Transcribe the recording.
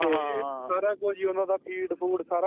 ਸਾਰਾ ਕੁਜ ਓਹਨਾ ਦਾ feed food